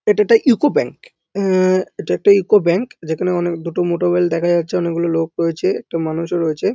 এটা একটা UCO bank অ্যা এটা একটা ইউকো ব্যাঙ্ক যেখানে অনেক দুটো মোটরওয়েল দেখা যাচ্ছে অনেকগুলো লোক রয়েছে একটা মানুষও রয়েছে।